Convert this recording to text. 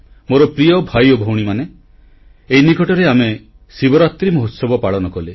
ମୋର ପ୍ରିୟ ଭାଇ ଓ ଭଉଣୀମାନେ ଏଇ ନିକଟରେ ଆମେ ଶିବରାତ୍ରୀ ମହୋତ୍ସବ ପାଳନ କଲେ